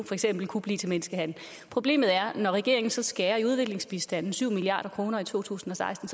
for eksempel kunne blive til menneskehandel problemet er at når regeringen så skærer i udviklingsbistanden syv milliard kroner i to tusind og seksten